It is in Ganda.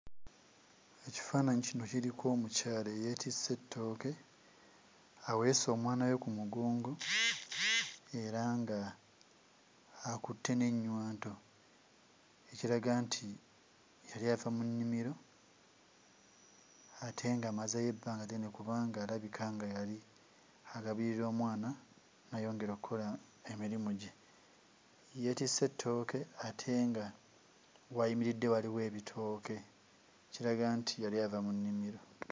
Ekifaananyi kino kiriko omukyala eyeetisse ettooke, aweese omwana we ku mugongo era ng'akutte n'ennywanto, ekiraga nti yali ava mu mu nnimiro ate ng'amazeeyo ebbanga ddene kubanga alabika nga yali alabirira mwana n'ayongera okkola emirimu gye. Ye yeetisse ettooke ate nga w'ayimiridde waliwo ebitooke, ekiraga nti yali ava mu nnimiro.